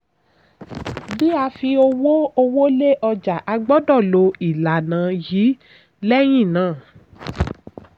bí a fi owó owó lé ọjà a gbọ́dọ̀ lo ìlànà yìí lẹ́yìn náà.